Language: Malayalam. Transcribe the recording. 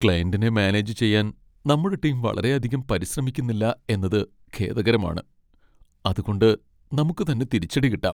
ക്ലയന്റിനെ മാനേജ് ചെയ്യാൻ നമ്മുടെ ടീം വളരെയധികം പരിശ്രമിക്കുന്നില്ല എന്നത് ഖേദകരമാണ്, അത് കൊണ്ട് നമുക്ക് തന്നെ തിരിച്ചടി കിട്ടാം .